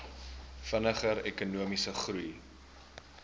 vinniger ekonomiese groei